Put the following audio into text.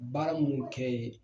Baara munnu kɛ ye